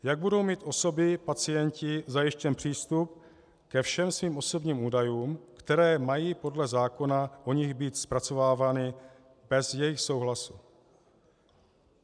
Jak budou mít osoby-pacienti zajištěn přístup ke všem svým osobním údajům, které mají podle zákona o nich být zpracovávány bez jejich souhlasu.